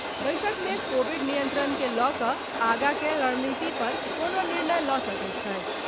बैसक मे कोविड नियंत्रण के लऽ कऽ आगॉ के रणनीति पर कोनो निर्णय लऽ सकैत छथि।